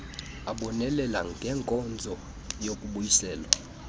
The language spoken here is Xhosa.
abonelela ngenkonzo yokubuyiselwa